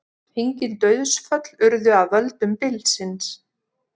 Engin dauðsföll urðu af völdum bylsins